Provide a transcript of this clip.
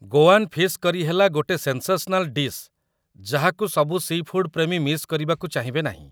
Goan fish କରି ହେଲା ଗୋଟେ ସେନ୍‌ସେସନାଲ୍ ଡିଶ୍ ଯାହାକୁ ସବୁ ସି' ଫୁଡ୍ ପ୍ରେମୀ ମିସ୍ କରିବାକୁ ଚାହିଁବେ ନାହିଁ ।